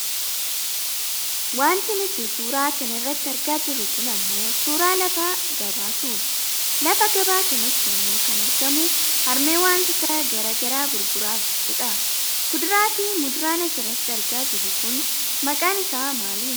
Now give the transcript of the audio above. Wanti nuti suura kana irratti argaa jirru kun ammoo suuraa lafa gabaatu. Lafa gabaa kanatti ammoo kan argamu harmee wantoota gara garaa gurguraa jirtudha. Kuduraafi muduraan asirratti argaa jirru kun maqaan isaanii maali?